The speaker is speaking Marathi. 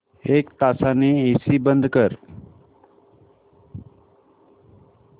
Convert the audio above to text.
एक तासाने एसी बंद कर